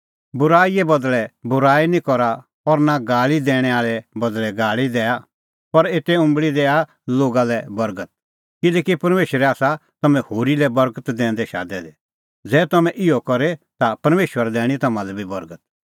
बूराईए बदल़ै बूराई निं करा और नां गाल़ी दैणैं आल़ै लै बदल़ै दी गाल़ी दैआ पर एते उंबल़ी दैआ लोगा लै बर्गत किल्हैकि परमेशरै आसा तम्हैं होरी लै बर्गत दैंदै शादै दै ज़ै तम्हैं इहअ करे ता परमेशरा दैणीं तम्हां लै बी बर्गत